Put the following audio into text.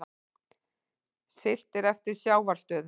Siglt eftir sjávarstöðu